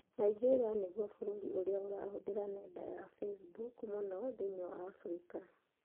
Nigeria nĩguo bũrũri ũrĩa ũrahũthĩra nenda ya Facebook mũno thĩinĩ wa Afrika